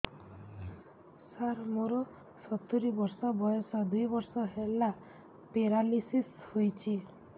ସାର ମୋର ସତୂରୀ ବର୍ଷ ବୟସ ଦୁଇ ବର୍ଷ ହେଲା ପେରାଲିଶିଶ ହେଇଚି